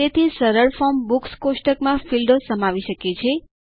તેથી સરળ form books કોષ્ટકમાં ફીલ્ડો સમાવી શકે છે